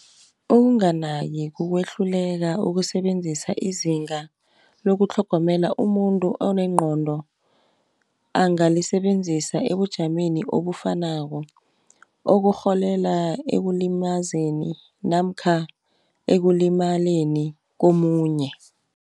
Ukunganaki kukwehluleka ukusebenzisa izinga lokutlhogomelo umuntu onengqondo, angalisebenzisa ekujameni obufanako, ekurholela ekulimazeni namkha ekulimaleni komunye.